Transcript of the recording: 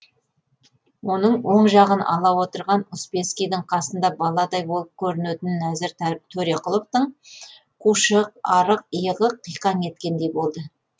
оның оң жағын ала отырған успенскийдің қасында баладай болып көрінетін нәзір төреқұловтың қушық арық иығы қиқаң еткендей болды